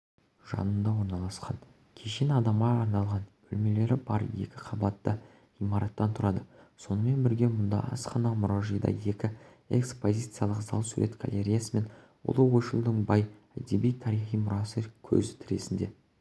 жанында орналасқан кешен адамға арналған бөлмелері бар екі қабатты ғимараттан тұрады сонымен бірге мұнда асхана